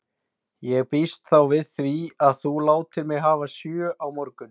Ég býst þá við því, að þú látir mig hafa sjö á morgun.